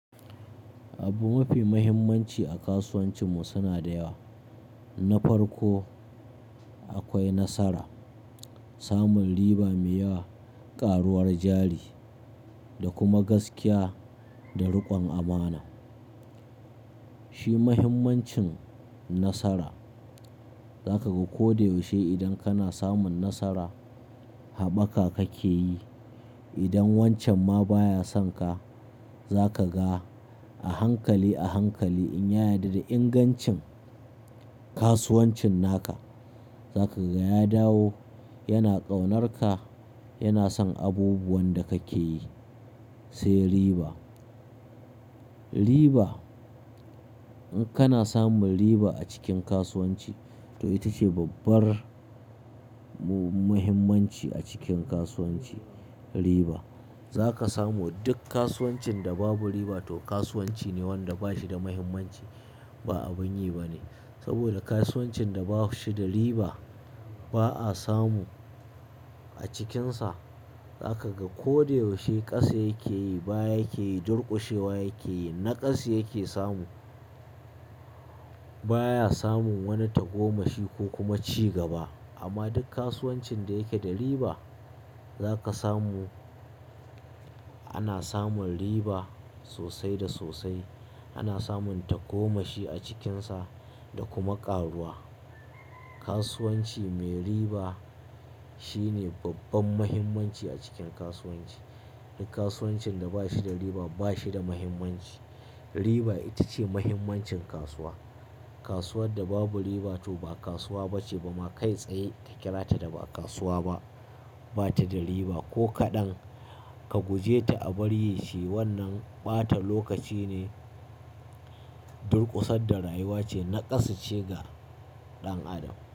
Abu mafi muhimmanci a kasuwancinmu suna da yawa. Na farko akwai nasara, samun riba mai yawa, ƙaruwar jari da kuma gaskiya da riƙon amana. Shi muhimmancin nasara zaka ga ko da yaushe idan kana samun nasara haɓaka kake yi. Idan wancan ma baya sonka zaka ga a hankali a hankali in ya yarda da ingancin kasuwancinaka zaka ga ya dawo, yana ƙaunarka, yana son abubuwan da kake yi. Sai riba, riba in kana samun riba a cikin kasuwanci to ita ce babbar muhimmanci a cikin kasuwanci. Riba za ka samu duk kasuwancin da babu riba to kasuwanci ne wanda bashi da muhimmanci ba abun yi bane. Saboda kasuwancin da bashida riba ba a samu a cikinsa. Za ka ga ko da yaushe ƙasa yake yi, baya yake yi, durƙushewa yake yi, naƙasu yake samu. Baya samun wani tagomashi ko kuma cigaba. Amma duk kasuwancin da yake da riba za ka samu. Ana samun riba sosai da sosai. Ana samun tagomashi a cikinsa da kuma ƙaruwa. Kasuwanci mai riba shine babban mahimmanci a cikin kasuwanci. Duk kasuwancin da bashida riba bashi da muhimmanci. Riba ita ce mahimmancin kasuwa. Kasuwar da babu riba to ba kasuwa bace ba ma kai tsaye ka kira ta da ba kasuwa ba, bata da riba ko kaɗan. Ka guje ta a bari yi shi wannan ɓata lokaci ne, durƙusar da rayuwa ce, naƙasa ce ga ɗan adam.